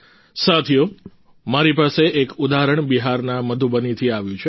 સાથીઓ મારી સામે એક ઉદાહરણ બિહારના મધુબનીથી આવ્યું છે